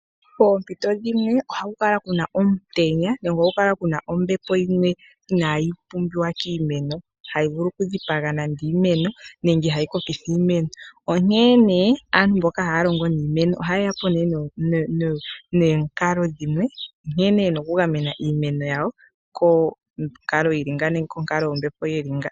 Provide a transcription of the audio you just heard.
Poompito dhimwe ohaku kala kuna omutenya nenge onkalo yombepo ndjoka inayi pumbiwa kiimeno, tayi vulu okudhipaga nenge oku ha kokitha iimeno. Molwa onkalo ndjika, aantu mboka haya longo niimeno oya nduluka po omikalo dha yooloka dhinasha nokugamena iimeno konkalombepo yi li ngaaka.